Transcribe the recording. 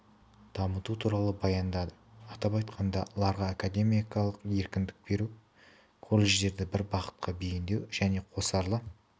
дамыту туралы баяндады атап айтқанда ларға академиялық еркіндік беру колледждерді бір бағытқа бейіндеу және қосарлы